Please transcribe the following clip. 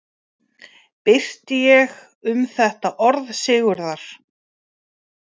Birti ég um þetta orð Sigurðar